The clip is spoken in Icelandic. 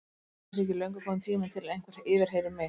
Ætli það sé ekki löngu kominn tími til að einhver yfirheyri mig.